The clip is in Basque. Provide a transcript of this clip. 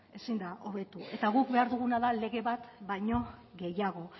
ezin da hobetu eta guk behar duguna da lege bat baino gehiago